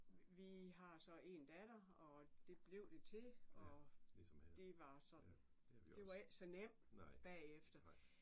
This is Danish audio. Vi har så en datter og det blev det til og det var sådan det var ikke så nemt bagefter